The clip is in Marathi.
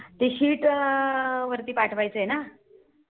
ती Sheet वरती पाठवायचं आहे ना. .